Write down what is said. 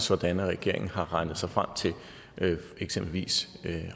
sådan at regeringen har regnet sig frem til eksempelvis